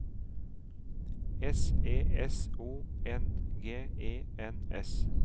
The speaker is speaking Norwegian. S E S O N G E N S